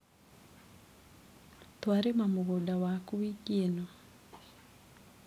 Twarĩma mũgũnda waku wiki ĩno.